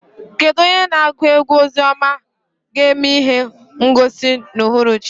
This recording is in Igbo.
Kedu onye na-agụ egwú ozi ọma ga-eme ihe ngosi n'uhuruchi?